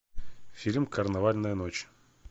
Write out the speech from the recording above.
фильм карнавальная ночь